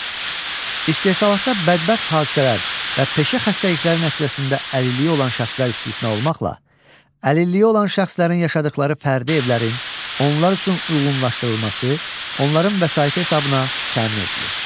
İstehsalatda bədbəxt hadisələr və peşə xəstəlikləri nəticəsində əlilliyi olan şəxslər istisna olmaqla, əlilliyi olan şəxslərin yaşadıqları fərdi evlərin onlar üçün uyğunlaşdırılması onların vəsaiti hesabına təmin edilir.